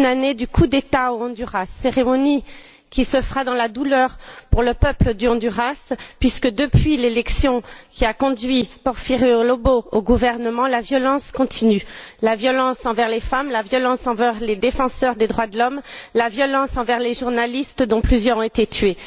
anniversaire du coup d'État au Honduras, cérémonie qui se fera dans la douleur pour le peuple du Honduras puisque, depuis l'élection qui a conduit Porfirio Lobo au gouvernement, la violence continue, violence envers les femmes, violence envers les défenseurs des droits de l'homme, violence envers les journalistes dont plusieurs ont été tués.